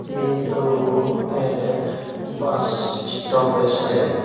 ये तो एक बस स्टॉप है शायद।